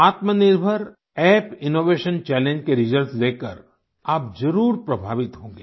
आत्मनिर्भर app innovation challenge के results देखकर आप ज़रूर प्रभावित होंगे